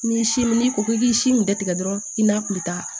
N'i si n'i ko k'i k'i si in bɛɛ tigɛ dɔrɔn i n'a kun bɛ taa